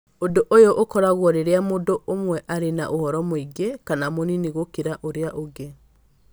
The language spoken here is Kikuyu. Ũndũ ũyũ ũkoragwo rĩrĩa mũndũ ũmwe arĩ na ũhoro mũingĩ kana mũnini gũkĩra ũrĩa ũngĩ.